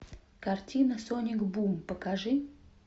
картина соник бум покажи